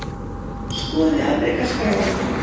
Skoðið afrekaskrá okkar